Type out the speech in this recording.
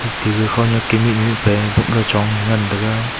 tega khonyak ke mihnyu mihpa e bapley chong ngan taiga.